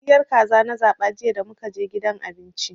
Soyayyiyar kaza na zaba jiya damukaje gidan abinci.